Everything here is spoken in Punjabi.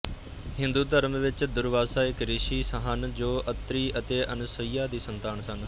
ਹਿੰਦੂ ਧਰਮ ਵਿੱਚ ਦੁਰਵਾਸਾ ਇੱਕ ਰਿਸ਼ੀ ਹਨ ਜੋ ਅਤਰੀ ਅਤੇ ਅਨਸੁਈਆ ਦੀ ਸੰਤਾਨ ਸਨ